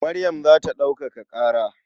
Maryam za ta ɗaukaka ƙara.